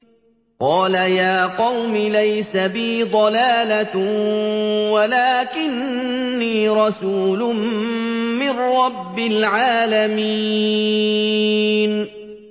قَالَ يَا قَوْمِ لَيْسَ بِي ضَلَالَةٌ وَلَٰكِنِّي رَسُولٌ مِّن رَّبِّ الْعَالَمِينَ